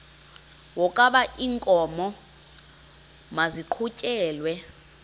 wokaba iinkomo maziqhutyelwe